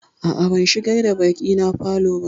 A'a, ban shigar da baƙina falo ba.